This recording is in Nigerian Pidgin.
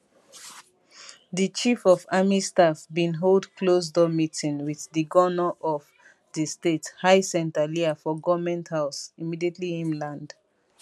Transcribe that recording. di chief of army staff bin hold closed door meeting wit di govnor of di state hyacinth alia for goment house immediately im land